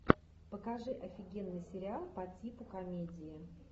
покажи офигенный сериал по типу комедии